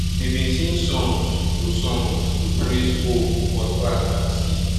we bin sing songs to songs to praise hoe cutlass and seed